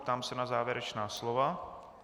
Ptám se na závěrečná slova.